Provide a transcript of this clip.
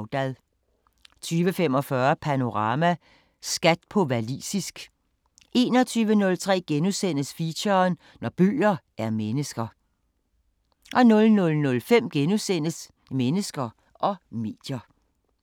20:45: Panorama: Skat på walisisk 21:03: Feature: Når bøger er mennesker * 00:05: Mennesker og medier *